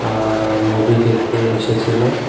আ movie দেখতে এসেছিল।